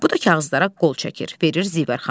Bu da kağızlara qol çəkir, verir Zivər xanıma.